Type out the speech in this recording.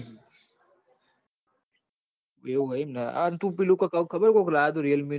એવું હ ન ઇ મન અન પેલું કોક કેતો ખબર હ કોક લાયો તન realme નું